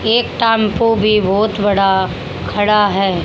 एक टांपो भी बहोत बड़ा खड़ा है।